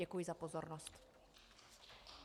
Děkuji za pozornost.